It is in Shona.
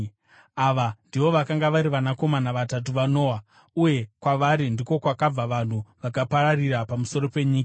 Ava ndivo vakanga vari vanakomana vatatu vaNoa, uye kwavari ndiko kwakabva vanhu vakapararira pamusoro penyika.